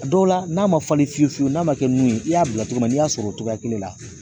A dɔw la n'a ma falen fiyewu fiyewu n'a ma kɛ min ye i y'a bila cogo min na n'i y'a sɔrɔ o cogoya kelen la.